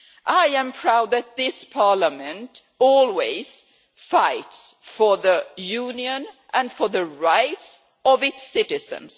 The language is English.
I am proud that this Parliament always fights for the Union and for the rights of its citizens.